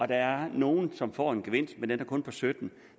der er nogle som får en gevinst men den er kun på sytten